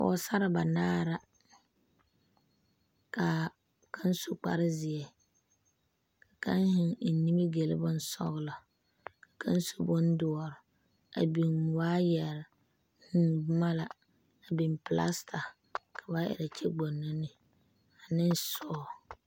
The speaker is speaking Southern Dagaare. Pɔɔsarre banaare la kaa kaŋ su kparezeɛ kaa kaŋ zeŋ eŋ nimigyile bonsɔglɔ kaŋ su bondoɔre a biŋ waayɛre vūū boma la a biŋ plasta ka ba erɛ kyɛ gboŋno ne a ne sɔɔ.